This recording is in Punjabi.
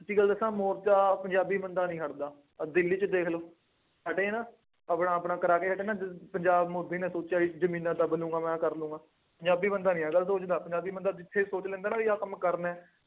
ਸੱਚੀ ਗੱਲ ਦੱਸਾਂ ਮੋਰਚਾ ਪੰਜਾਬੀ ਬੰਦਾ ਨਹੀਂ ਹੱਟਦਾ। ਆਹ ਦਿੱਲੀ ਚ ਦੇਖ ਲਉ, ਹਟੇ ਨਾ, ਆਪਣਾ ਆਪਣਾ ਕਰਾ ਕੇ ਹਟੇ ਨਾ, ਪੰਜਾਬ, ਮੋਦੀ ਨੇ ਸੋਚਿਆ ਸੀ ਜ਼ਮੀਨਾਂ ਦੱਬ ਲਊਗਾ, ਮੈਂ ਆਹ ਕਰ ਲਊਗਾ, ਪੰਜਾਬੀ ਬੰਦਾ ਨਹੀਂ ਹੱਟਦਾ, ਪੰਜਾਬੀ ਬੰਦਾ ਜਿੱਥੇ ਸੋਚ ਲੈਂਦਾ ਨਾ ਬਈ ਆਹ ਕੰਮ ਕਰਨਾ ਹੈ।